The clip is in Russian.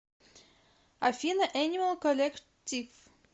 афина энимал коллектив